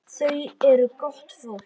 Þau eru gott fólk.